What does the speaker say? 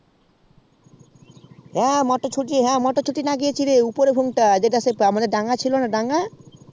হ্যা মোটরছুটি লাগিয়েছি মানে আমাদের সেই দাঙ্গা ছিল না সেই দাঙ্গা